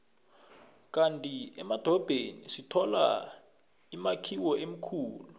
kandi emadorobheni sithola imakhiwo emikhulu